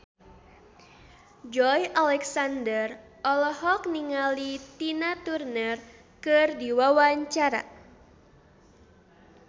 Joey Alexander olohok ningali Tina Turner keur diwawancara